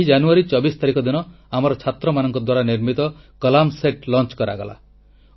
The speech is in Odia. ଏହି ଜାନୁୟାରୀ ଚବିଶ ତାରିଖ ଦିନ ଆମ ଛାତ୍ରଛାତ୍ରୀଙ୍କ ଦ୍ୱାରା ନିର୍ମିତ କଲାମ ସେଟ ପ୍ରକ୍ଷେପଣ କରାଗଲା